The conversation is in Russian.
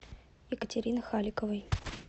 екатерины халиковой